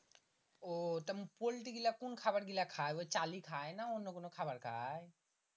উহ তা পোল্টি গীলা কোন খাবার গীলা খাই ওই চালি খাই না অন্য কোনো খাবার খাই